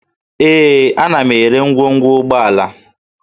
Ee, ana m ere ngwongwo ụgbọala